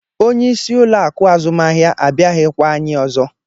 Onyeisi ụlọ akụ̀ azụmahịa abịaghịkwa anyị ọzọ.